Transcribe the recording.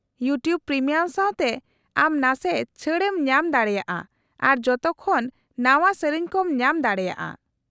-YouTube premium ᱥᱟᱶᱛᱮ ᱟᱢ ᱱᱟᱥᱮ ᱪᱷᱟᱹᱲ ᱮᱢ ᱧᱟᱢ ᱫᱟᱲᱮᱭᱟᱜᱼᱟ ᱟᱨ ᱡᱚᱛᱚ ᱠᱷᱚᱱ ᱱᱟᱶᱟ ᱥᱮᱹᱨᱮᱹᱧ ᱠᱚᱢ ᱧᱟᱢ ᱫᱟᱲᱮᱭᱟᱜᱼᱟ ᱾